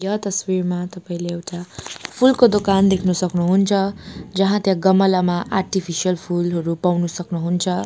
यो तस्बिरमा तपाईंले एउटा फूलको दोकान देख्न सक्नुहुन्छ जहाँ त्यहाँ गमलामा आर्टिफिसियल फूलहरू पाउन सक्नुहुन्छ।